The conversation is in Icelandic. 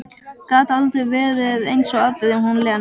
Gat aldrei verið eins og aðrir, hún Lena.